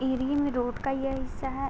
Area में road का यह हिस्सा है।